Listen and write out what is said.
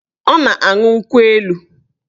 Ọ na-aṅụ nkwụ elu